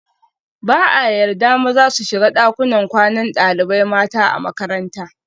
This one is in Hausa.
Ba a yarda maza su shiga dakunan kwanan dalibai mata a makaranta